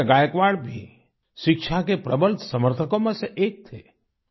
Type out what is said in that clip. महाराजा गायकवाड़ भी शिक्षा के प्रबल समर्थकों में से एक थे